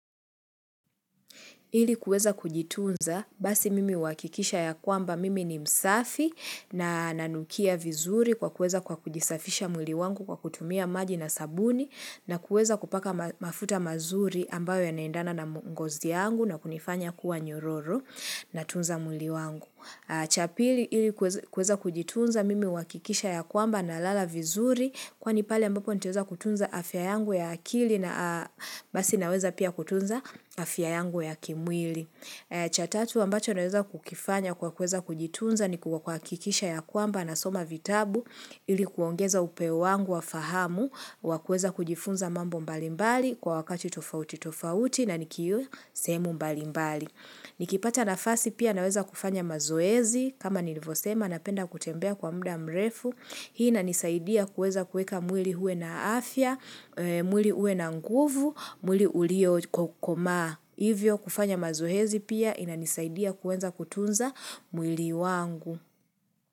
Ili kuweza kujitunza, basi mimi uhakikisha ya kwamba mimi ni msafi na nanukia vizuri kwa kuweza kwa kujisafisha mwili wangu kwa kutumia maji na sabuni na kuweza kupaka mafuta mazuri ambayo yanaendana na ngozi yangu na kunifanya kuwa nyororo na tunza mwili wangu. Cha pili ili kuweza kujitunza mimi wuhakikisha ya kwamba nalala vizuri kwani pale ambapo nitaweza kutunza afya yangu ya akili na basi naweza pia kutunza afya yangu ya kimwili. Cha tatu ambacho naweza kukifanya kwa kuweza kujitunza ni kwa kuhakikisha ya kwamba nasoma vitabu ili kuongeza upeo wangu wa fahamu wakueza kujifunza mambo mbalimbali kwa wakati tofauti tofauti na nikiwa sehemu mbalimbali. Nikipata nafasi pia naweza kufanya mazoezi kama nilivyosema napenda kutembea kwa muda mrefu. Hii inanisaidia kuweza kuweka mwili uwe na afya, mwili uwe na nguvu, mwili uliokomaa. Hivyo kufanya mazoezi pia inanisaidia kuweza kutunza mwili wangu.